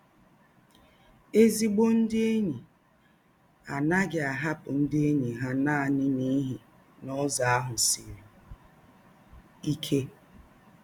Ézígbò ndị̀ ényí á naghị̀ ahàpụ̀ ndị̀ ényí hà nánị̀ n’íhí na Ụ́zọ̀ áhụ̀ sìrí íké.